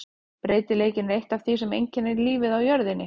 Breytileikinn er eitt af því sem einkennir lífið á jörðinni.